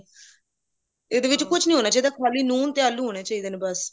ਇਹਦੇ ਵਿੱਚ ਕੁੱਛ ਨਹੀਂ ਹੋਣਾ ਚਾਹਿਦਾ ਖਾਲੀ ਨੂਨ ਤੇ ਆਲੂ ਹੋਣੇ ਚਾਹੀਦੇ ਨੇ ਬਸ